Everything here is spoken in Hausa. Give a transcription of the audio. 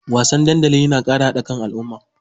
Wasanni dandali na ƙara haɗa kan mutane.